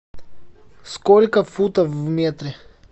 сколько футов в метре